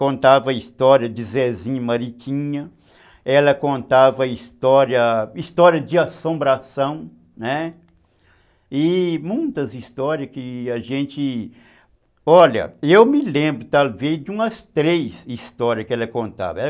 contava a história de Zezinho Mariquinha, ela contava a história, história de Assombração, né, e muitas histórias que a gente... Olha, eu me lembro talvez de umas três histórias que ela contava.